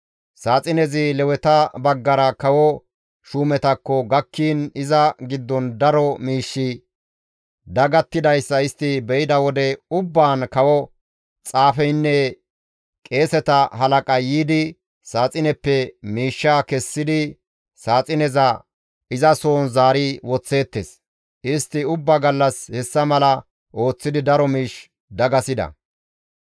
Saaxinezi Leweta baggara kawo shuumetakko gakkiin iza giddon daro miishshi dagattidayssa istti be7ida wode ubbaan kawo xaafeynne qeeseta halaqay yiidi saaxineppe miishshaa kessidi saaxineza izasohon zaari woththeettes; istti ubba gallas hessa mala ooththidi daro miish dagasida.